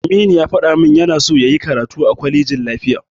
Aminu ya faɗa min yana son yayi karatu a kwalejin lafiya.